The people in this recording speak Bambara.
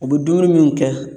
U bɛ dumuni minnu kɛ